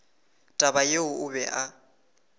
taba yeo o be a